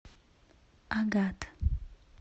агат